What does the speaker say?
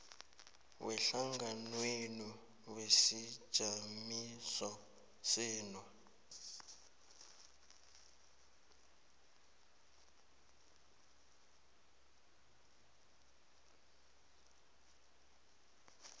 wehlanganwenu wesijamiso senu